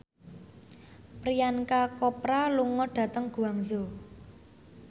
Priyanka Chopra lunga dhateng Guangzhou